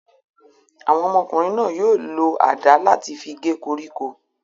Àwọn ọmọkùnrin náà yóò lo àdá láti fi gé koríko.